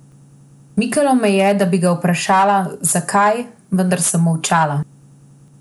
Mikalo me je, da bi ga vprašala, zakaj, vendar sem molčala.